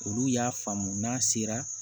Olu y'a faamu n'a sera